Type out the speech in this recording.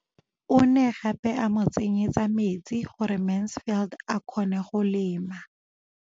O ne gape a mo tsenyetsa metsi gore Mansfield a kgone go lema.